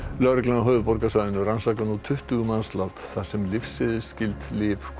lögreglan á höfuðborgarsvæðinu rannsakar nú tuttugu mannslát þar sem lyfseðilsskyld lyf koma